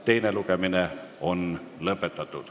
Teine lugemine on lõpetatud.